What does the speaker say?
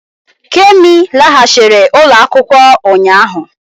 Kemi laghachiri ụlọ akwụkwọ ụnyaahụ